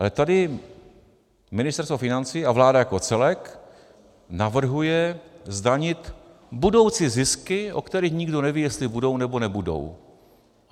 Ale tady Ministerstvo financí a vláda jako celek navrhují zdanit budoucí zisky, o kterých nikdo neví, jestli budou, nebo nebudou.